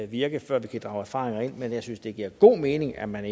virke før vi kan drage erfaringer ind men jeg synes det giver god mening at man